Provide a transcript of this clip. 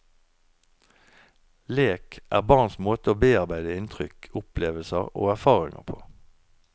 Lek er barns måte å bearbeide inntrykk, opplevelser og erfaringer på.